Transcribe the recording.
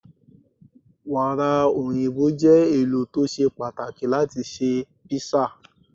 Wàrà òyìnbó je ẹlò to ṣe pàtàkì láti ṣe písà.